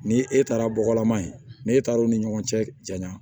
Ni e taara bɔgɔlama yen n'e taara o ni ɲɔgɔn cɛ janya